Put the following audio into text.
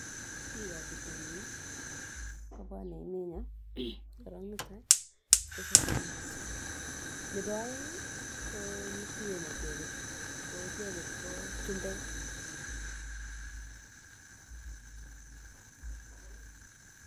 Bikab pitonin nii kobwone emenyon korong netai kososebik, nebo oengi kituen icheket tii ko icheket ko chumbek.